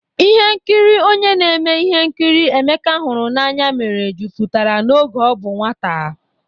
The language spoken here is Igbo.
Ihe nkiri onye na-eme ihe nkiri Emeka hụrụ n'anya mere jupụtara oge ọ bụ nwata.